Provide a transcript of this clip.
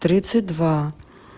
тридцать два